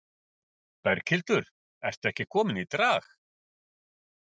Berghildur, ertu ekki komin í drag?